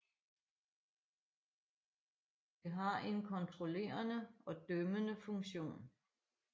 Det har en kontrollerende og dømmende funktion